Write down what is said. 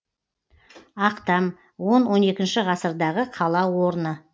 ақтам он он екінші ғасырдағы қала орны